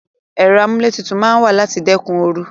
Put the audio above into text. Ero amuletutu maa n wa lati dekun oru